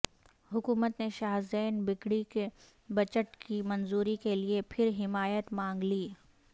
حکومت نے شاہ زین بگٹی سے بجٹ کی منظوری کے لیے پھر حمایت مانگ لی